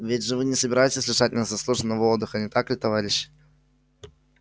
ведь вы же не собираетесь лишать нас заслуженного отдыха не так ли товарищи